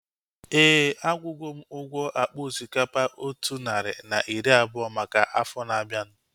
Éè, akwugo m ụgwọ akpa osikapa otu narị na iri abụọ maka afọ na-abianu